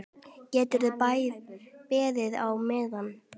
Geturðu beðið á meðan.